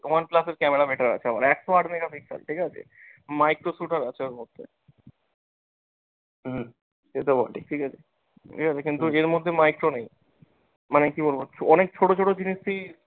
one plus এর camera better একশো আট mega pixel ঠিকাছে, micro shooter আছে ওর মধ্যে ঠিকাছে, ঠিকাছে কিন্তু এর মধ্যে micro নেই মানে কি বলবো অনেক ছোট ছোট জিনিস তুই